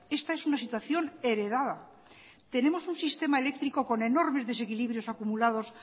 esta es una situación heredada tenemos un sistema eléctrico con enormes desequilibrios acumulados